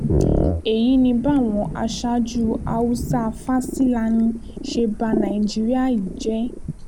èyí ni báwọn aṣáájú haúsá-fásilani ṣe ba nàìjíríà yìí jẹ́